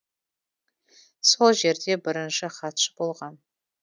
сол жерде бірінші хатшы болған